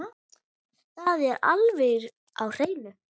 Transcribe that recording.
Það er alveg á hreinu.